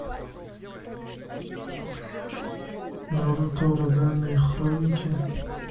наруто ураганные хроники